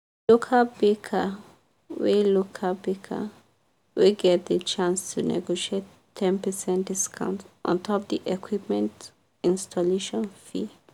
the local baker wey local baker wey get the chance to negotiate ten percent discount ontop the equipment installation fee.